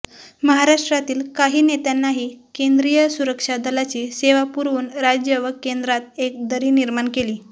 महाराष्ट्रातील काही नेत्यांनाही केंद्रीय सुरक्षा दलाची सेवा पुरवून राज्य व केंद्रात एक दरी निर्माण केली